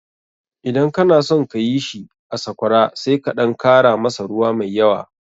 Idan kana son ka yi shi a Sakwara sai ka ɗan kara masa ruwa mai yawa.